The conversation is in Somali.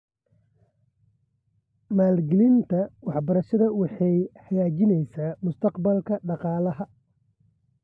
Maalgelinta waxbarashada waxay hagaajinaysaa mustaqbalka dhaqaalaha .